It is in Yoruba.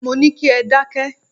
Mo ní kí ẹ dákẹ́!